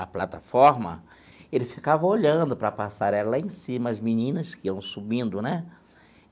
a plataforma, ele ficava olhando para a passarela lá em cima, as meninas que iam subindo, né?